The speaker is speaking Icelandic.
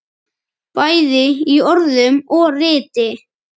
Bæði í orðum og riti.